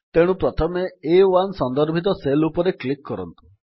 ତେଣୁ ପ୍ରଥମେ ଆ1 ସନ୍ଦର୍ଭିତ ସେଲ୍ ଉପରେ କ୍ଲିକ୍ କରନ୍ତୁ